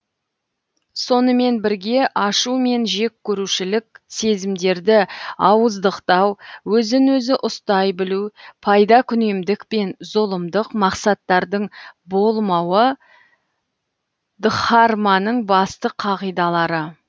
сонымен бірге ашу мен жек көрушілік сезімдерді ауыздықтау өзін өзі ұстай білу пайдакүнемдік пен зұлымдық мақсаттардың болмауы дхарманың басты қағидалары